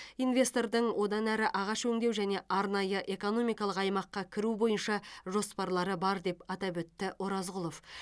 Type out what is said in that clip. инвестордың одан әрі ағаш өңдеу және арнайы экономикалық аймаққа кіру бойынша жоспарлары бар деп атап өтті оразғұлов